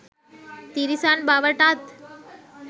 තිරිසන් බවටත්